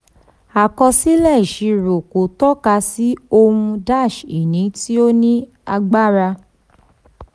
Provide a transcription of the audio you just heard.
àkọsílẹ̀ ìṣirò kò tọ́ka sí ohun-ini tí ó ní agbára.